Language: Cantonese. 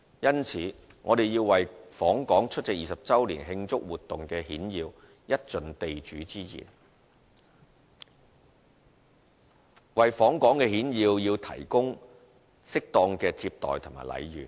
因此，我們要為訪港出席20周年慶祝活動的顯要一盡地主之誼，為訪港顯要提供適當的接待和禮遇。